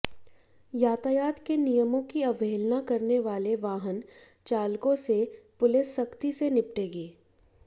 यातायात के नियमों की अवहेलना करने वाले वाहन चालकों से पुलिस सख्ती से निपटेगी